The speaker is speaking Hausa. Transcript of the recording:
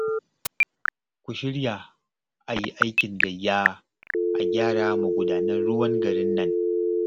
Ku shirya a yi aikin gayya a gyara magudanan ruwan garin nan